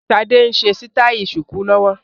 Sade ń ṣe sítai ṣùkú lọ́wọ́